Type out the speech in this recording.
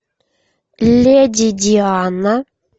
леди диана